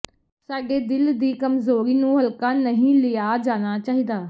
ਸਾਡੇ ਦਿਲ ਦੀ ਕਮਜ਼ੋਰੀ ਨੂੰ ਹਲਕਾ ਨਹੀਂ ਲਿਆ ਜਾਣਾ ਚਾਹੀਦਾ